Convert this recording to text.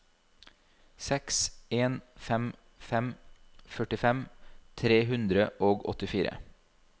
seks en fem fem førtifem tre hundre og åttifire